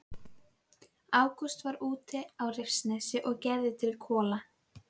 Ágúst var úti á Rifsnesi og gerði til kola.